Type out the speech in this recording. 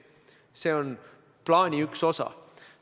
See on plaani üks osa.